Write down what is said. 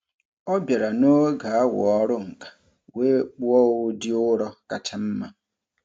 Ọ bịara n'oge awa ọrụ nka wee kpụọ ụdị ụrọ kacha mma.